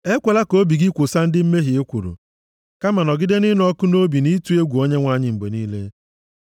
Ekwela ka obi gị kwosa ndị mmehie ekworo, kama nọgide nʼịnụ ọkụ nʼobi nʼịtụ egwu Onyenwe anyị mgbe niile,